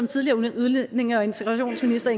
tidligere udlændinge og integrationsminister